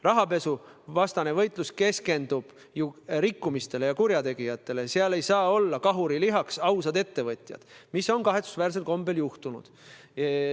Rahapesuvastane võitlus keskendub ju rikkumistele ja kurjategijatele, seal ei saa olla kahurilihaks ausad ettevõtjad, nagu see kahetsusväärsel kombel on juhtunud.